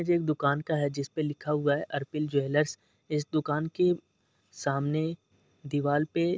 ये एक दुकान का है जिस पे लिखा हुआ अर्पिल ज्वेलरस । इस दुकान के सामने दीवाल पे --